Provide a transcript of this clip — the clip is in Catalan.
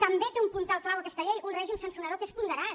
també té un puntal clau aquesta llei un règim sancionador que és ponderat